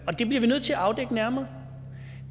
og det bliver vi nødt til at afdække nærmere